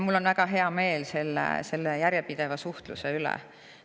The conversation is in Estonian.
Mul on väga hea meel selle järjepideva suhtluse üle.